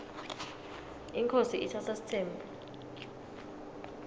inkhosi itsatsa sitsembu